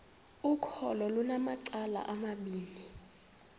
ukholo lunamacala amabini